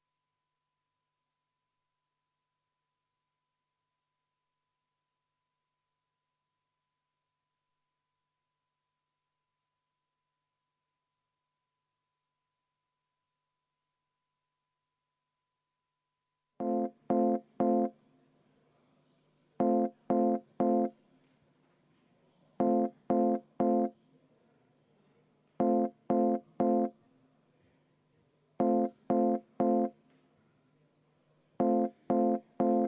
Muudatusettepanek nr 3, esitatud Sotsiaaldemokraatliku Erakonna fraktsiooni poolt, juhtivkomisjon on jätnud arvestamata.